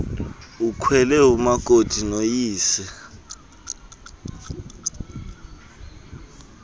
ukhwele umakoti noyise